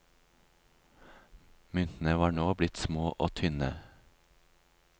Myntene var nå blitt små og tynne.